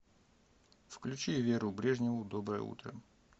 включи веру брежневу доброе утро